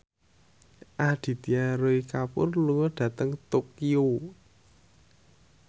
Aditya Roy Kapoor lunga dhateng Tokyo